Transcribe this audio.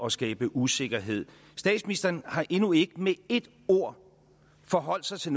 at skabe usikkerhed statsministeren har endnu ikke med et ord forholdt sig til